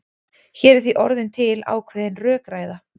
Hér er því orðin til ákveðin rökræða.